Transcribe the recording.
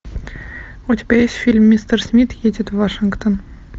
у тебя есть фильм мистер смит едет в вашингтон